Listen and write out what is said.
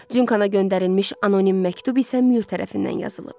Cunkana göndərilmiş anonim məktub isə Müür tərəfindən yazılıb.